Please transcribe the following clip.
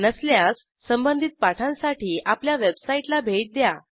नसल्यास संबधित पाठांसाठी आपल्या वेबसाईटला भेट द्या